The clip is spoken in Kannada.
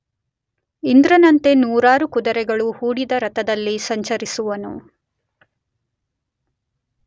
ಇಂದ್ರನಂತೆ ನೂರಾರು ಕುದುರೆಗಳು ಹೂಡಿದ ರಥದಲ್ಲಿ ಸಂಚರಿಸುವವನು.